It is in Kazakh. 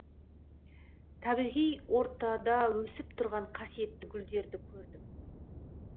табиғи ортада өсіп тұрған қасиетті гүлдерді көрдім